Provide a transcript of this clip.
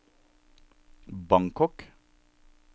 Bangkok